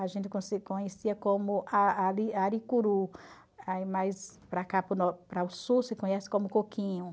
A gente conhecia como a ari aricuru, aí mas para cá para o sul se conhece como coquinho.